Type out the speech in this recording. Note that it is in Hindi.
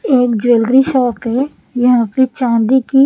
एक ज्वेलरी शॉप है यहां पे चांदी की--